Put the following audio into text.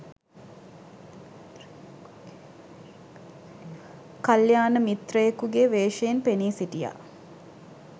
කල්‍යාණ මිත්‍රයෙකුගේ වේශයෙන් පෙනී සිටියා.